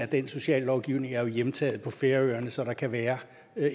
den sociallovgivning er jo hjemtaget på færøerne så der kan være